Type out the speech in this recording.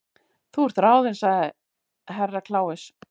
Þú ert ráðin sagði Herra Kláus.